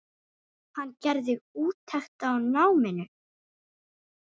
Hann gerði úttekt á náminu.